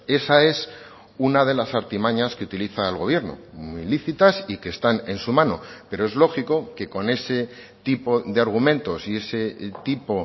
esa es una de las artimañas que utiliza el gobierno muy lícitas y que están en su mano pero es lógico que con ese tipo de argumentos y ese tipo